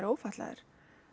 ófatlaðir